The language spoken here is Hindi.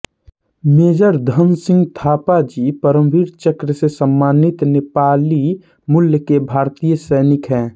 मेजर धनसिंह थापा जी परमवीर चक्र से सम्मानित नेपाली मूल के भारतीय सैनिक हैं